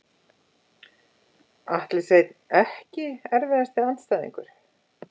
Atli Sveinn EKKI erfiðasti andstæðingur?